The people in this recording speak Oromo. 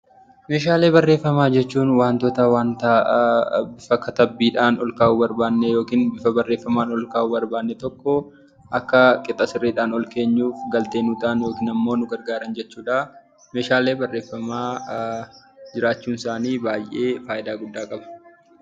Meeshaalee barreeffamaa jechuun wantoota bifa katabbiidhaan ol kaawuu barbaadne yookaan bifa barreeffamaan ol kaa'uu barbaadne tokko akka qixa sirriidhaan ol keenyuuf galtee nuuf ta'an yookiin nu gargaaran jechuudha. Meeshaaleen barreeffamaa jiraachuun isaanii baay'ee fayidaa hedduu qaba.